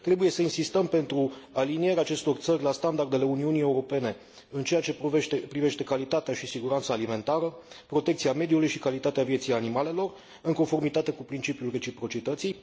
Trebuie să insistăm pentru alinierea acestor țări la standardele Uniunii Europene, în ceea ce privește calitatea și siguranța alimentară, protecția mediului și calitatea vieții animalelor, în conformitate cu principiul reciprocității.